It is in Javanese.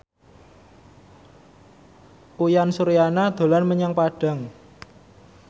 Uyan Suryana dolan menyang Padang